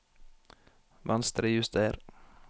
Venstrejuster